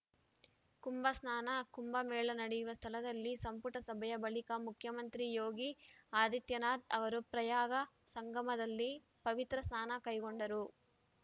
ಕುಂಭ ಸ್ನಾನ ಕುಂಭ ಮೇಳ ನಡೆಯುವ ಸ್ಥಳದಲ್ಲಿ ಸಂಪುಟ ಸಭೆಯ ಬಳಿಕ ಮುಖ್ಯಮಂತ್ರಿ ಯೋಗಿ ಆದಿತ್ಯನಾಥ್‌ ಅವರು ಪ್ರಯಾಗ ಸಂಗಮದಲ್ಲಿ ಪವಿತ್ರ ಸ್ನಾನ ಕೈಗೊಂಡರು